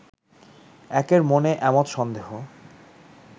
একের মনে এমত সন্দেহ